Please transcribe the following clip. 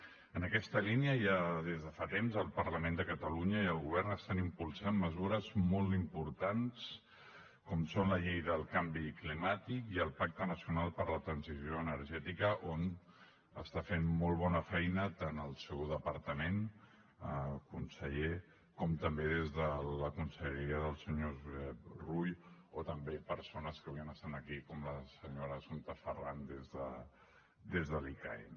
en aquesta línia ja des de fa temps el parlament de catalunya i el govern estan impulsant mesures molt importants com són la llei del canvi climàtic i el pacte nacional per a la transició energètica on està fent molt bona feina tant el seu departament conseller com també des de la conselleria del senyor josep rull o també persones que avui estan aquí com la senyora assumpta ferran des de l’icaen